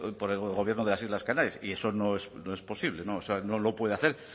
por el gobierno de las islas canarias y eso no es posible no lo puede hacer